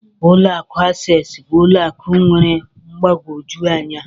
Ụlọ akụ Access bụ ụlọ akụ nwere mgbagwoju anya